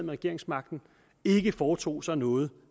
regeringsmagten og ikke foretog sig noget